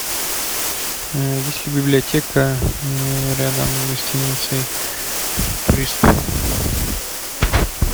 есть ли библиотека рядом с гостиницей турист